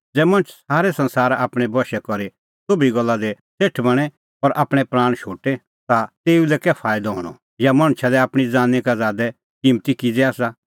ज़ै मणछ सारै संसारा आपणैं बशै करी सोभी गल्ला दी सेठ बणें और आपणैं प्राण शोटे ता तेऊ लै कै फाईदअ हणअ या मणछा लै आपणीं ज़ानीं का ज़ादै किम्मती किज़ै आसा